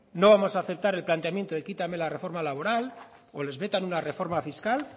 no vamos aceptar el planteamiento de quítame la reforma laboral o les metan una reforma fiscal